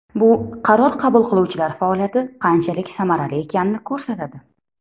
Bu qaror qabul qiluvchilar faoliyati qanchalik samarali ekanini ko‘rsatadi.